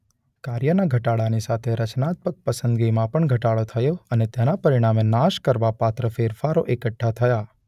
કાર્યના ઘટાડાની સાથે રચનાત્મક પસંદગીમાં પણ ઘટાડો થયો અને તેના પરિણામે નાશ કરવાપાત્ર ફેરફારો એકઠા થયા.